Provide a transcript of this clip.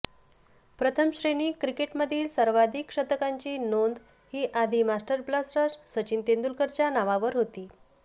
प्रथमश्रेणी क्रिकेटमधील सर्वाधिक शतकांची नोंद ही आधी मास्टर ब्लास्टर सचिन तेंडुलकरच्या नावावर होती